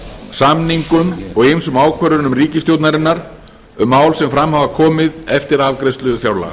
samningum og ýmsum ákvörðunum ríkisstjórnarinnar um mál sem fram hafa komið eftir afgreiðslu fjárlaga